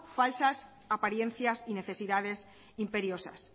falsas apariencias y necesidades imperiosas